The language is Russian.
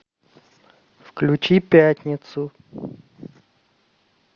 включи пятницу